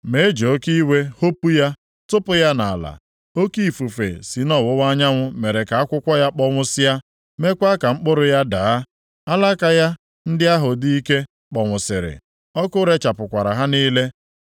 Ma e ji oke iwe hopu ya tụpụ ya nʼala. Oke ifufe si nʼọwụwa anyanwụ mere ka akwụkwọ ya kpọnwụsịa, meekwa ka mkpụrụ ya daa. Alaka ya ndị ahụ dị ike kpọnwụsịrị, ọkụ rechapụkwara ha niile.